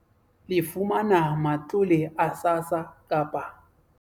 Le fumana matlole a SASSA kapa